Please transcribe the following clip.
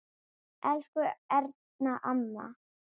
Elsku Erna amma.